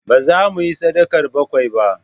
Ba zamu yi sadakar bakwai ba